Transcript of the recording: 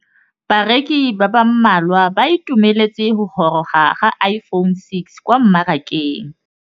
Bareki ba ba malwa ba ituemeletse go gôrôga ga Iphone6 kwa mmarakeng.